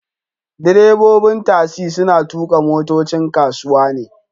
Direbobin tasi suna tuka motocin kasuwa ne